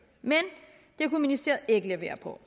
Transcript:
men det kunne ministeriet ikke levere så